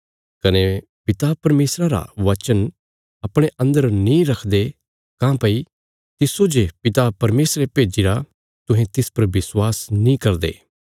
कने पिता परमेशरा रा बचन अपणे अन्दर नीं रखदे काँह्भई तिस्सो जे पिता परमेशरे भेज्जिरा तुहें तिस पर विश्वास नीं करदे